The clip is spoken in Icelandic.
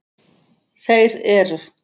Þeir eru